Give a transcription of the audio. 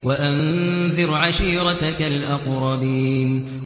وَأَنذِرْ عَشِيرَتَكَ الْأَقْرَبِينَ